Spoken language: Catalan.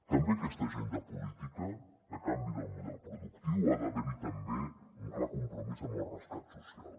també en aquesta agenda política de canvi del model productiu ha d’haver hi també un clar compromís amb el rescat social